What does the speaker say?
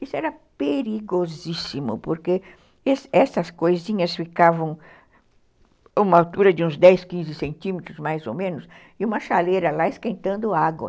Isso era perigosíssimo, porque essas coisinhas ficavam a uma altura de uns dez, quinze centímetros, mais ou menos, e uma chaleira lá esquentando água.